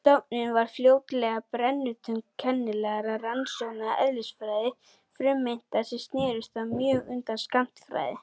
Stofnun varð fljótlega brennipunktur kennilegra rannsókna í eðlisfræði frumeinda sem snerust þá mjög um skammtafræði.